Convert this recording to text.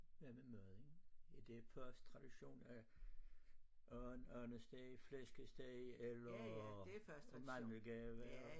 Hvad med maden? det er først tradition at and andesteg flæskesteg eller mandelgave